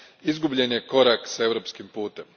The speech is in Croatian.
izgubljen je korak s europskim putem.